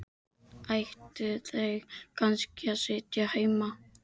Ættu þau kannski að sitja heima?